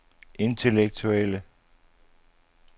intellektuelle